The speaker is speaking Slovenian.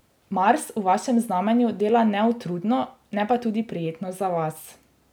Mars v vašem znamenju dela neutrudno, ne pa tudi prijetno za vas.